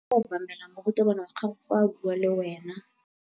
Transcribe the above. O tshwanetse go obamela morutabana wa gago fa a bua le wena.